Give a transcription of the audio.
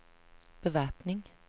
bevæpning